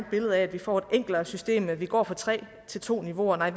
billede af at vi får et enklere system når vi går fra tre til to niveauer nej